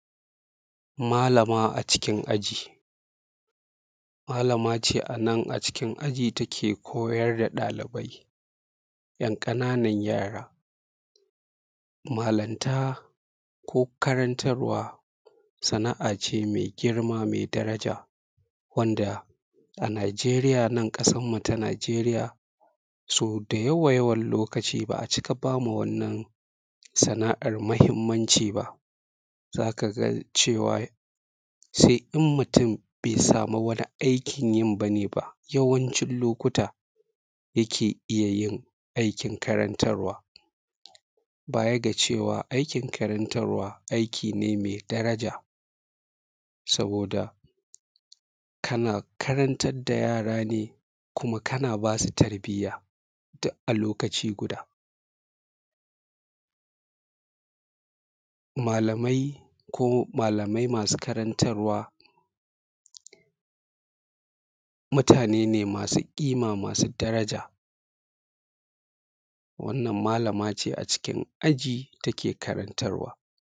malamaa a cikin aji Maalamaa ce a nan a cikin aji ta ke koyar da ɗalibai, ‘yan ƙananan yara. malanta ko karantarwa sana’a cee mai girma mai daja wanda a Nigeria nan ƙasarmu ta Nigeria, so da yawayawan lokaci ba a cika ba ma wannan sana’ar muhimmanci ba. za ka ga ceewar sai in mutum bai samu wani aikin yin ba nee ba, yawancin lokuta yakee iya yin aikin karantarwa. baya ga cewa aikin karantarwa aiki ne mai daraja saboda kuma kana ba su tarbiyya duk a lokaci guda. malamai masu karantarwa mutane ne masu ƙimaa masu daraja. wannan malama cee a cikin aji ta ke karantarwa